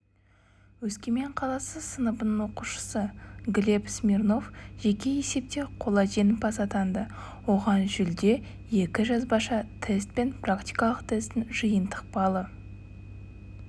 өскемен қаласы сыныбының оқушысы глеб смирнов жеке есепте қола жеңімпаз атанды оған жүлде екі жазбаша тест пен практикалық тестінің жиынтық балы